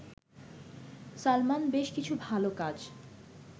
সালমান বেশ কিছু ভালো কাজ